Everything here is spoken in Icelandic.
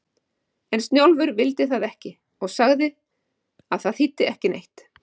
En Snjólfur vildi það ekki og sagði að það þýddi ekki neitt.